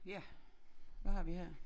Ja hvad har vi her